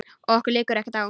Okkur liggur ekkert á